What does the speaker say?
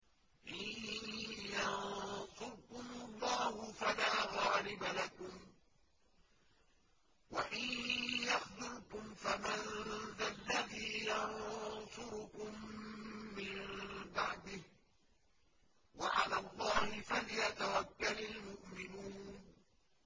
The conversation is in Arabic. إِن يَنصُرْكُمُ اللَّهُ فَلَا غَالِبَ لَكُمْ ۖ وَإِن يَخْذُلْكُمْ فَمَن ذَا الَّذِي يَنصُرُكُم مِّن بَعْدِهِ ۗ وَعَلَى اللَّهِ فَلْيَتَوَكَّلِ الْمُؤْمِنُونَ